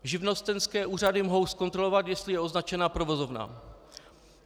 Živnostenské úřady mohou zkontrolovat, jestli je označena provozovna.